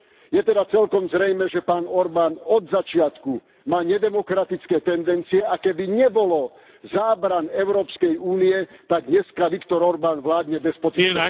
Je teda celkom zrejmé, že pán Orbán od začiatku má nedemokratické tendencie a keby nebolo zábran Európskej únie, tak dnes Viktor Orbán vládne despotickou...